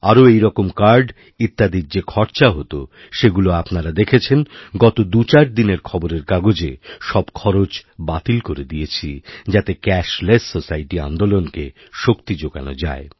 আরও এইরকম কার্ড ইত্যাদির যে খরচা হতসেগুলো আপনারা দেখেছেন গত দুচারদিনের খবরের কাগজে সব খরচ বাতিল করে দিয়েছি যাতেক্যাশলেস সোসাইটি আন্দোলনকে শক্তি যোগানো যায়